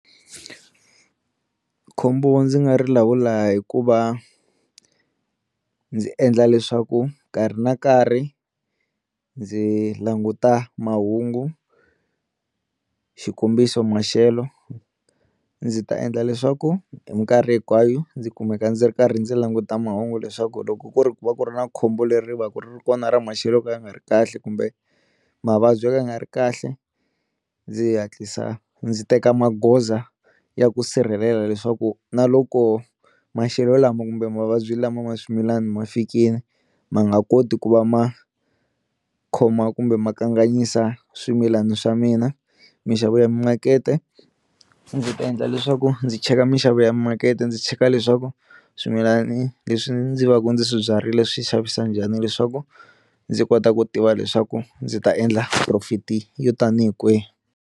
Khombo ndzi nga ri lawula hi ku va ndzi endla leswaku nkarhi na nkarhi ndzi languta mahungu xikombiso maxelo ndzi ta endla leswaku hi minkarhi hinkwayo ndzi kumeka ndzi ri karhi ndzi languta mahungu leswaku loko ku ri ku va ku ri na khombo leri va ku ri kona ra maxelo ka ya nga ri kahle kumbe mavabyi yo ka yi nga ri kahle, ndzi hatlisa ndzi teka magoza ya ku sirhelela leswaku na loko maxelo lama kumbe mavabyi lama ma swimilana ma fikile ma nga koti ku va ma khoma kumbe ma kanganyisa swimilana swa mina, minxavo ya makete ndzi ta endla leswaku ndzi cheka minxavo ya makete ndzi cheka leswaku swimilani leswi ndzi va ka ndzi swibyarile swi xavisa njhani leswaku ndzi kota ku tiva leswaku ndzi ta endla profit yo tanihi kwihi.